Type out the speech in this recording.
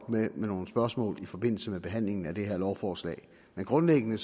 med nogle spørgsmål i forbindelse med behandlingen af det her lovforslag men grundlæggende